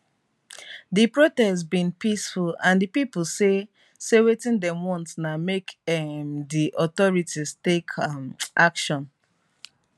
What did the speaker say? di protest bin peaceful and di pipo say say wetin dem want na make um di authorities take um action